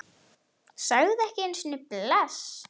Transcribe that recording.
Sagði ekki einu sinni bless.